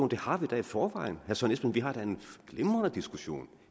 det har vi da i forvejen vi har da en glimrende diskussion